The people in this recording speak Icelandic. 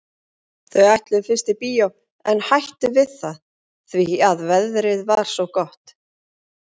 Þau ætluðu fyrst í bíó en hættu við það því að veðrið var svo gott.